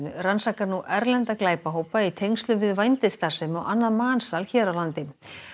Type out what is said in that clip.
rannsakar nú erlenda glæpahópa í tengslum við vændisstarfsemi og annað mansal hér á landi